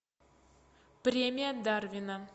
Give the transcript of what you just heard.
премия дарвина